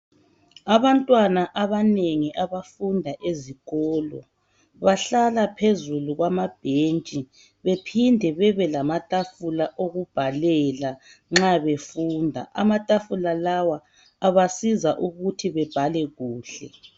Abantwana abanengi abafunda ezikolo ,bahlala phezulu kwamabhetshi, bephinde babelamathafula okubhalela nxa befunda. Amathafula lawa abasiza ukuthi babhale kuhle.